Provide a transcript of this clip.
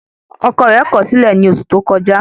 Ọkọ rẹ̀ kọ̀ ọ́ sílẹ̀ ní oṣù tó kọjá